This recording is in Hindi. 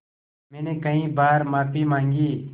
मैंने कई बार माफ़ी माँगी